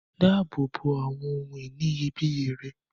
Dáàbò bo awọn ohun-ìní iyebíye rẹ.